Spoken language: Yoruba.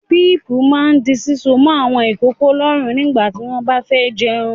Bíípù máà di síso mọ́ àwọn ìkókó lọ́rùn nígbà tí wọ́n bá fẹ́ jẹun.